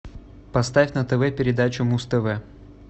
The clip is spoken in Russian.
поставь на тв передачу муз тв